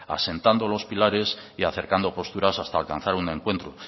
asentando los pilares y acercando posturas hasta alcanzar un encuentro